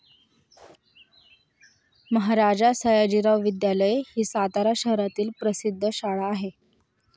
महाराजा सयाजीराव विद्यालय ही सातारा शहरातील प्रसिद्ध शाळा आहे.